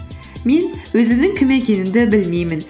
мен өзімнің кім екенімді білмеймін